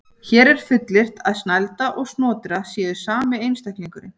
Hér er fullyrt að Snælda og Snotra séu sami einstaklingurinn.